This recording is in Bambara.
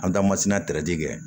An taamasina kɛ